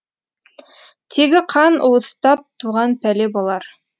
тегі қан уыстап туған пәле болар